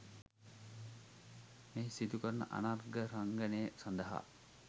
මෙහි සිදු කරන අනර්ඝ රංගනය සඳහා